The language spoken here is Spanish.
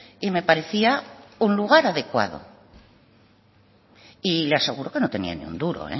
y me parecía un lugar adecuado y le aseguro que no tenía ni un duro